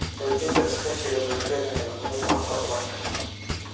Xoojinta iskaashiga bulshada ayaa muhiim u ah horumarka.